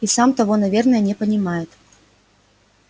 и сам того наверное не понимает